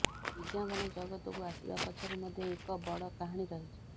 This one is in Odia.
ବିଜ୍ଞାପନ ଜଗତକୁ ଆସିବା ପଛରେ ମଧ୍ୟ ଏକ ବଡ଼ କାହାଣୀ ରହିଛି